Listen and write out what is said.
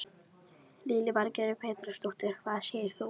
Lillý Valgerður Pétursdóttir: Hvað segir þú?